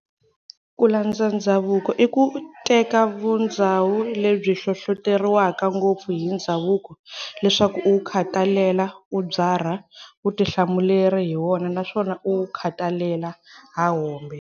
Kulandza ndzhavuko, iku teka vundhzawu lebyi hlohloteriwaka ngopfu hi ndhzavuko leswaku uwu khatalela-ubyarha vutihlamuleri hi wona naswona uwu khatalela hahombe.